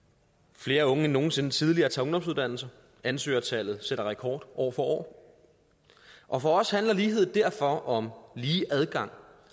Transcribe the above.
flere unge end nogen sinde tidligere tager ungdomsuddannelser ansøgertallet sætter rekord år for år og for os handler lighed derfor om lige adgang